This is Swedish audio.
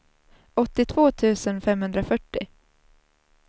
åttiotvå tusen femhundrafyrtio